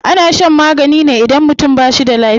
Ana shan magani ne idan mutum ba shi da lafiya.